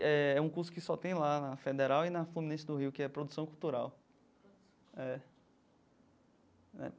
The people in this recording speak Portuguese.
Eh um curso que só tem lá, na Federal e na Fluminense do Rio, que é produção cultural. É é.